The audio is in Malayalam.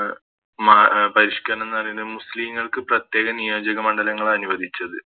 മ പരിഷ്ക്കരണെന്ന് പറയണേ മുസ്ലിങ്ങൾക്ക് പ്രത്യേക നിയോജക മണ്ഡലങ്ങളനുവദിച്ചത്